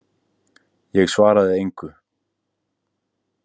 Ég svaraði engu.